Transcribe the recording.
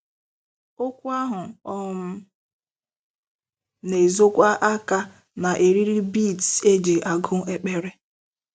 Okwu ahụ um na-ezokwa aka na eriri beads e ji agụ ekpere.